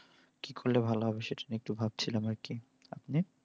কি করলে ভালো হবে সেটা নিয়ে একটু ভাবছিলাম আর কি। আপনি?